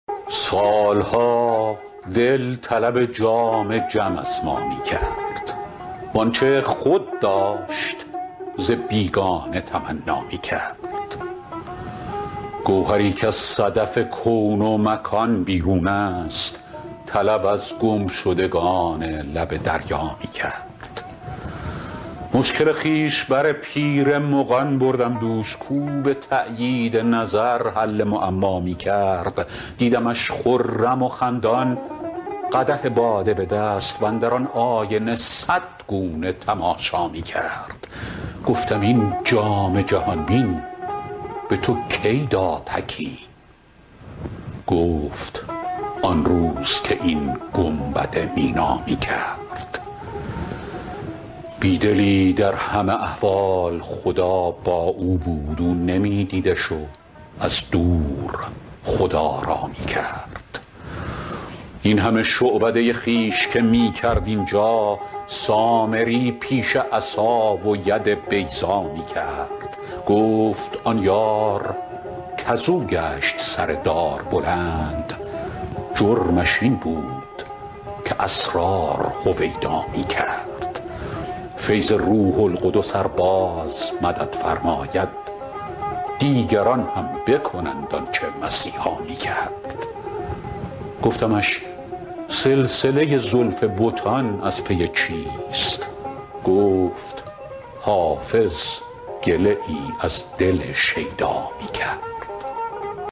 سال ها دل طلب جام جم از ما می کرد وآنچه خود داشت ز بیگانه تمنا می کرد گوهری کز صدف کون و مکان بیرون است طلب از گمشدگان لب دریا می کرد مشکل خویش بر پیر مغان بردم دوش کاو به تأیید نظر حل معما می کرد دیدمش خرم و خندان قدح باده به دست واندر آن آینه صد گونه تماشا می کرد گفتم این جام جهان بین به تو کی داد حکیم گفت آن روز که این گنبد مینا می کرد بی دلی در همه احوال خدا با او بود او نمی دیدش و از دور خدارا می کرد این همه شعبده خویش که می کرد اینجا سامری پیش عصا و ید بیضا می کرد گفت آن یار کز او گشت سر دار بلند جرمش این بود که اسرار هویدا می کرد فیض روح القدس ار باز مدد فرماید دیگران هم بکنند آن چه مسیحا می کرد گفتمش سلسله زلف بتان از پی چیست گفت حافظ گله ای از دل شیدا می کرد